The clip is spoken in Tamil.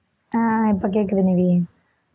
அஹ் இப்ப கேக்குது நிவி